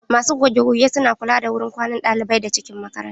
Masu goge goge su na kula da wurin kwanan ɗalibai da cikin makaranta.